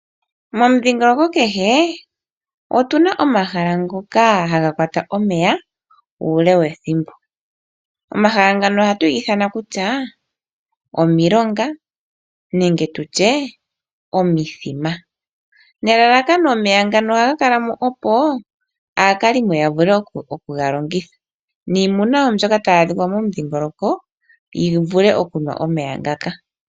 Momundhingoloko kehe otu na omahala ngoka haga kwata omeya uule wethimbo. Omahala ngano ohaga ithanwa omilonga nenge tu tye omithima. Omeya ngano ohaga kala mo nelalakano opo aakalimo ya vule oku ga longitha osho wo iimuna yi vule okunwa omeya ngaka.